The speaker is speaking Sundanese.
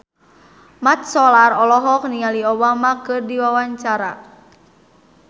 Mat Solar olohok ningali Obama keur diwawancara